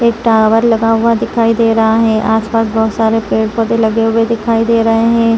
एक टावर लगा हुआ दिखाई दे रहा है आसपास बहुत सारे पेड़-पौधे लगे हुए दिखाई दे रहे हैं।